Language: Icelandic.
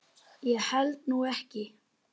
Ég held nú ekki.